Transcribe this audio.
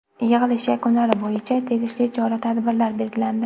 Yig‘ilish yakunlari bo‘yicha tegishli chora-tadbirlar belgilandi.